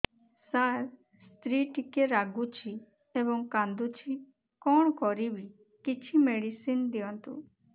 ସାର ସ୍ତ୍ରୀ ଟିକେ ରାଗୁଛି ଏବଂ କାନ୍ଦୁଛି କଣ କରିବି କିଛି ମେଡିସିନ ଦିଅନ୍ତୁ